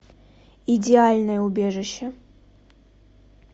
идеальное убежище